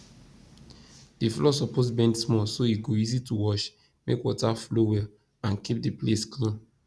the floor suppose bend small so e go easy to wash make water flow well and keep the place clean